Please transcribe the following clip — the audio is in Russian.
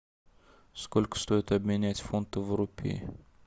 сколько стоит обменять фунты в рупии